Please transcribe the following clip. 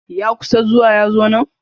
Ya kusa zuwa yanzonnan.